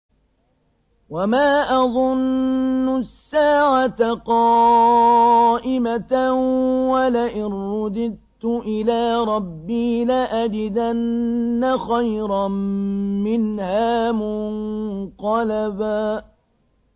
وَمَا أَظُنُّ السَّاعَةَ قَائِمَةً وَلَئِن رُّدِدتُّ إِلَىٰ رَبِّي لَأَجِدَنَّ خَيْرًا مِّنْهَا مُنقَلَبًا